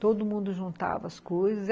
Todo mundo juntava as coisas.